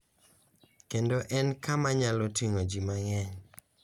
Kendo en kama nyalo ting`o ji mang`eny.